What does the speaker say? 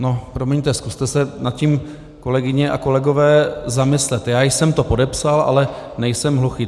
No promiňte, zkuste se nad tím, kolegyně a kolegové, zamyslet: já jsem to podepsal, ale nejsem hluchý.